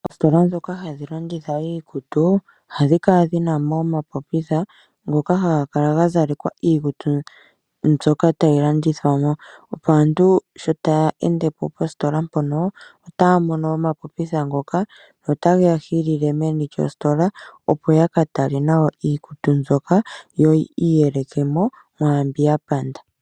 Oositola ndhoka hadhi landitha iikutu ohadhi kala dhina mo omapopitha ngoka ha ga kala ga zalekwa iikutu mbyoka tayi landithwa mo, opo aantu sho taya ende po positola mpono otaa mono omapopitha ngoka nota geya hilile meni lyositola, opo ya ka tale nawa iikutu mbyoka yo oyi iyelekele mo mwaambi ya panda.